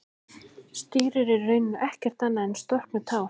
Stírur eru í rauninni ekkert annað en storknuð tár.